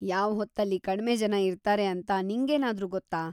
ಯಾವ್ಹೊತ್ತಲ್ಲಿ ಕಡ್ಮೆ ಜನ ಇರ್ತಾರೆ ಅಂತ ನಿಂಗೇನಾದ್ರೂ ಗೊತ್ತಾ?